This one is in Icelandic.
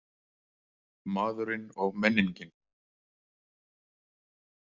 Maðurinn og menningin.